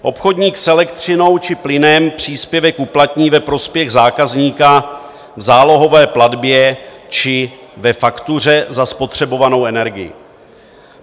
Obchodník s elektřinou či plynem příspěvek uplatní ve prospěch zákazníka v zálohové platbě či ve faktuře za spotřebovanou energii.